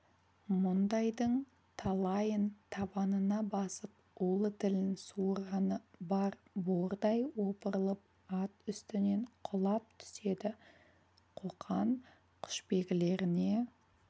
мұндайдың талайын табанына басып улы тілін суырғаны бар бордай опырылып ат үстінен құлап түседі қоқан құшбегілеріне